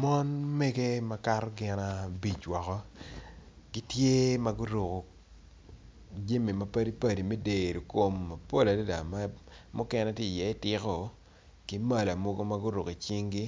Mon mege makato gin abic woko gitye magiruko jami mapadipadi me deyo kom mapol adada mukene tye i ye tiko gimala mogo magiruko i cingi